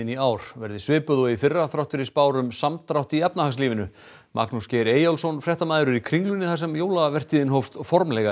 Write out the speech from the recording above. í ár verði svipuð og í fyrra þrátt fyrir spár um samdrátt í efnahagslífinu Magnús Geir Eyjólfsson fréttamaður er í Kringlunni þar sem jólavertíðin hófst formlega